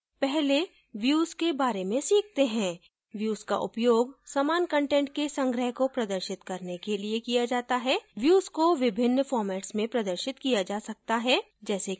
पहले views के बारे में सीखते हैं views का उपयोग समान कंटेंट के संग्रह को प्रदर्शित करने के लिए किया जाता है views को विभिन्न फॉर्मेट्स में प्रदर्शित किया जा सकता है जैसे कि